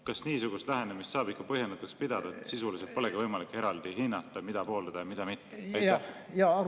Kas niisugust lähenemist saab ikka põhjendatuks pidada, et sisuliselt polegi võimalik eraldi hinnata, mida pooldada ja mida mitte?